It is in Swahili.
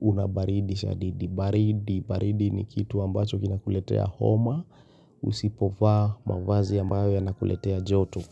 unabaridi, shadidi, baridi, baridi ni kitu ambacho kina kuletea homa, usipovaa mavazi ambayo yanakuletea joto.